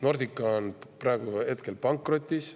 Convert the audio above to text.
Nordica on praegu pankrotis.